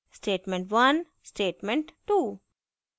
statement 1 statement 2